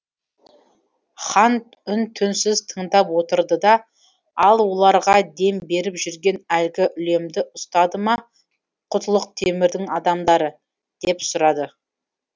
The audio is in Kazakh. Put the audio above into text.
хан үн түнсіз тыңдап отырды да ал оларға дем беріп жүрген әлгі үлемді ұстады ма құтлық темірдің адамдары деп сұрады